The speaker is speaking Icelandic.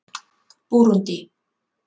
Búrúndí